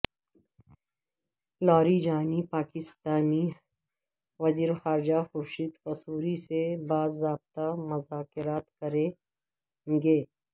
لاری جانی پاکستانی وزیر خارجہ خورشید قصوری سے با ضابطہ مذاکرات کریں گے